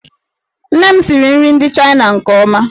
Nne m siri nri ndị Chaịna nke ọma.